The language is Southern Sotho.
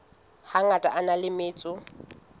hangata a na le metso